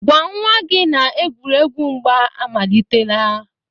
gwa nwa gị na-egwuregwu mgba amalitela.